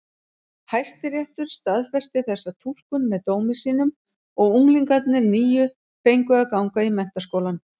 Hæstiréttur staðfesti þessa túlkun með dómi sínum og unglingarnir níu fengu að ganga í menntaskólann.